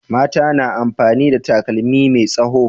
Mata na amfani da takalmi me tsaho